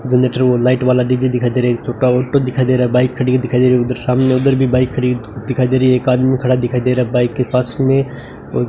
generator को light वाला DJ दिखाई दे रहा है एक छोटा ऑटो दिखाई दे रहा है बाइक खड़ी दिखाई दे रही है उधर सामने उधर भी बाइक खड़ी दिखाई दे रही है एक आदमी खड़ा दिखाई दे रहा है बाइक के पास में औ --